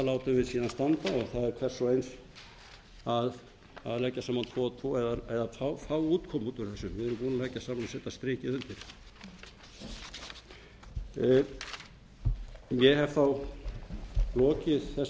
látum við síðan standa og það er hvers og egils að leggja saman tvo og tvo eða fá útkomu út úr þessu við erum búin að leggja saman og setja strikið undir ég hef þá lokið þessari